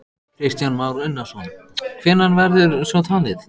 Kristján Már Unnarsson: Hvenær verður svo talið?